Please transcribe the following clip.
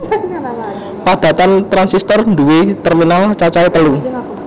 Padatan transistor nduwé terminal cacahe telu